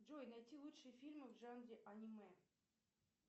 джой найти лучшие фильмы в жанре аниме